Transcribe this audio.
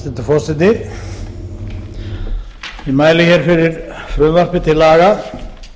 hæstvirtur forseti ég mæli hér fyrir frumvarpi til laga